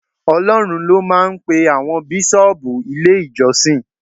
Ọlọ́run ló máa ń pe àwọn Bíṣọ́ọ̀bù ilé ìjọsìn.